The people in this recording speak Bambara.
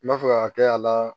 N b'a fɛ ka kɛ a la